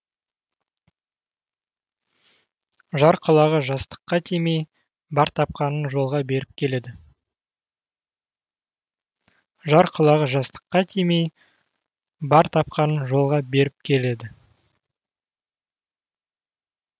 жар құлағы жастыққа тимей бар тапқанын жолға беріп келеді